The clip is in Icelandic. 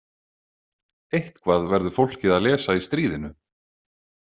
Eitthvað verður fólkið að lesa í stríðinu